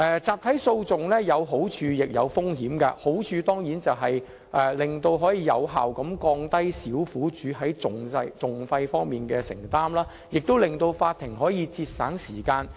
集體訴訟有好處亦有風險，好處當然是可以有效降低小苦主在訟費方面的承擔，也可節省法庭的時間。